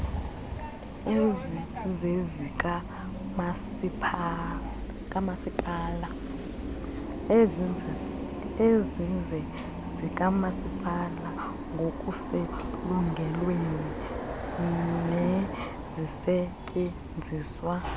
ezizezikamasipala ngokuselungelweni nezisetyenziswa